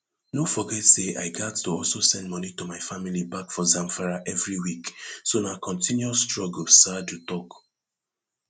no forget say i gatz to also send money to my family back for zamfara every week so na continuous struggle saadu tok